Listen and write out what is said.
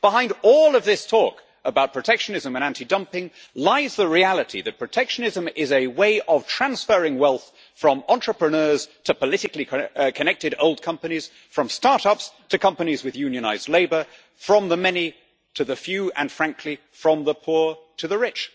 Behind all of this talk about protectionism and anti dumping lies the reality that protectionism is a way of transferring wealth from entrepreneurs to politically connected old companies, from start ups to companies with unionised labour, from the many to the few, and frankly from the poor to the rich.